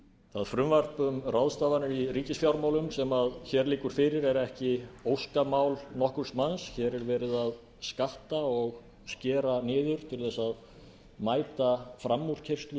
það frumvarp um ráðstafanir í ríkisfjármálum sem hér liggur fyrir er ekki óskamál nokkurs manns hér er verið að skatta og skera niður til að mæta framúrkeyrslu